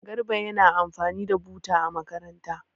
Garba yana amfani da buta a makaranta.